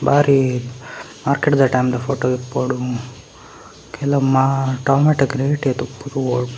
ಬಾರಿ ಮಾರ್ಕೆಡ್‌ದ ಟೈಮ್‌ದ ಫೋಟೋ ಇಪ್ಪೊಡು ಕೆಲ ಮಾ ಟೊಮಾಟೋಗ್ ರೇಟ್‌‌ ಏತ್‌ ಉಪ್ಪು ತೂವೊಡು.